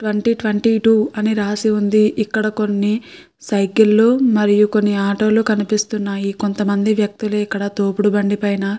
Twenty twenty two అని రాసి ఉంది. ఇక్కడ కొన్ని సైకిల్ ళ్ళు మరియు కొన్ని ఆటో లు కనిపిస్తున్నాయి. కొంతమంది వ్యక్తులు ఇక్కడ తోపుడు బండి పైన --